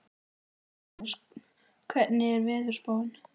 Sveinrós, hvernig er veðurspáin?